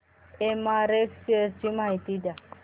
MRF shares ची माहिती द्या